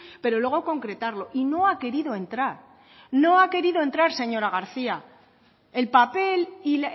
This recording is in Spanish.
pero luego concretarlo y no ha querido entrar no ha querido entrar señora garcía el papel y